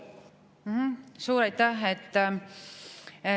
Suur aitäh!